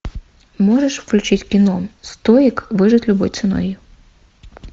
можешь включить кино стоик выжить любой ценой